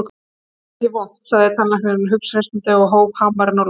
Þetta verður ekkert vont, sagði tannlæknirinn hughreystandi og hóf hamarinn á loft.